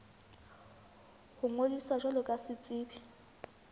ho ngodisa jwalo ka setsebi